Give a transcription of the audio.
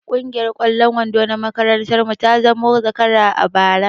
Kungiyar ƙwallon kwando na makarantar mu ta zamo zakara a bara